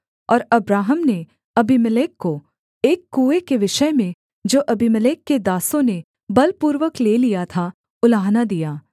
और अब्राहम ने अबीमेलेक को एक कुएँ के विषय में जो अबीमेलेक के दासों ने बलपूर्वक ले लिया था उलाहना दिया